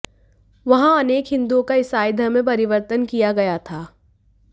वहां अनेक हिन्दुओं का ईसाई धर्म में परिवर्तन किया गया था